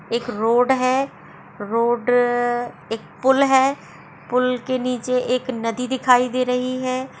एक रोड है| रोड एक पूल है पूल के नीचे एक नदी दिखाई दे रही है|